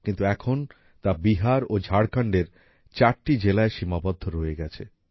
কিন্তু এখন তা বিহার ও ঝাড়খন্ডের চারটি জেলায় সীমাবদ্ধ রয়ে গেছে